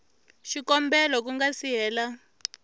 xikombelo ku nga si hela